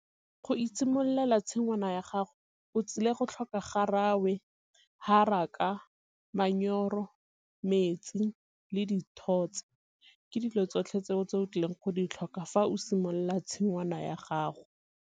Go itshimololela tshingwana ya gago o tsile go tlhoka garawe, haraka, , metsi le dithotse. Ke dilo tsotlhe tse o tlileng go di tlhoka fa o simolola tshingwana ya gago.